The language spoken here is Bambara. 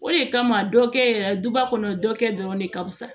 O de kama dɔ kɛ yɛrɛ duba kɔnɔ dɔ kɛ dɔrɔn ne ka fisa